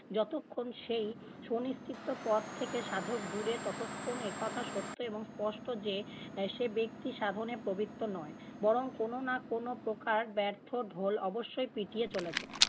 যতক্ষণ সেই সুনিশ্চিত পথ থেকে সাধক দূরে ততক্ষণ একথা সত্য এবং স্পষ্ট যে সে ব্যক্তিসাধনে প্রবৃত্ত নয় বরং কোনো না কোনো প্রকার ব্যর্থ ঢোল অবশ্যই পিটিয়ে চলেছে।